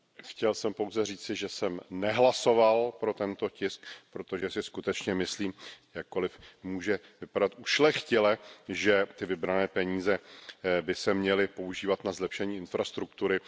Chtěl jsem pouze říci, že jsem nehlasoval pro tento tisk, protože si skutečně myslím, jakkoliv to může vypadat ušlechtile, že ty vybrané peníze by se měly používat na zlepšení infrastruktury.